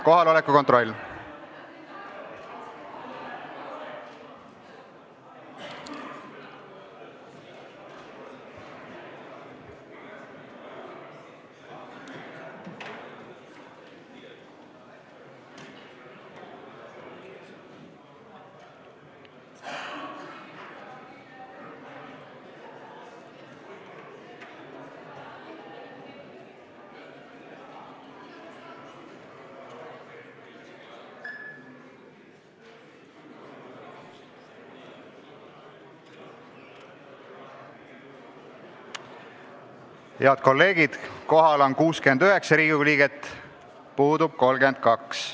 Kohaloleku kontroll Head kolleegid, kohal on 69 Riigikogu liiget, puudub 32.